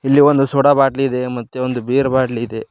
ಇಲ್ಲಿ ಒಂದು ಸೋಡಾ ಬಾಟಲಿ ಇದೆ ಮತ್ತೆ ಬೀರ್ ಬಾಟಲಿ ಇದೆ.